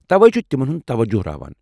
توے چھ تمن ہٗند توجہ راوان۔